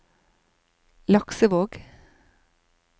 Laksevåg